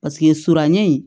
Paseke suranɲɛ in